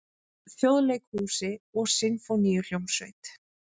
Þjóðleikhúsi og Sinfóníuhljómsveit.